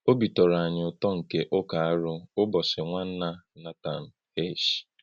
Ọ̀bí̄ tọ̄rọ̀ ānyị̄ ūtò̄ ńké ụ̀kàrụ́ ụ̀bọ́chí̄ Nwánnà Nathan H.